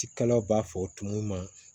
Ci kalaw b'a fɔ tumu ma